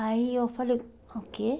Aí eu falei, o quê?